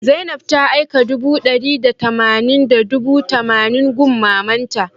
Zainab ta aika dubu d'ari da tamanin da dubu tamanin gun mamanta